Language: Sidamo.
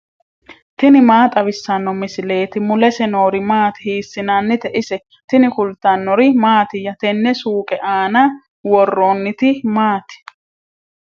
tini maa xawissanno misileeti ? mulese noori maati ? hiissinannite ise ? tini kultannori mattiya? tene suuqqe aanna woroonnitti maatti?